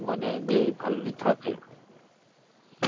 মানে যে ভালোই থাকে.